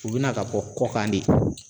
U bɛna ka bɔ kɔkan de